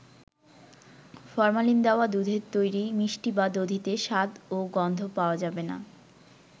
Formalin দেওয়া দুধের তৈরি মিষ্টি বা দধিতে স্বাদ ও গন্ধ পাওয়া যাবে না।